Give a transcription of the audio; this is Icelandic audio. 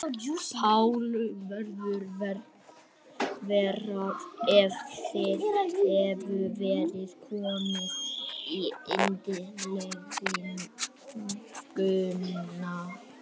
Páll: Hefði verið verra ef þið hefðuð verið komnir í innsiglinguna?